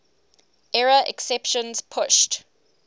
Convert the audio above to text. error exceptions pushed